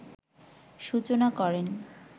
সূচনা করেন